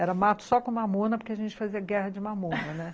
Era mato só com mamona, porque a gente fazia guerra de mamona, né?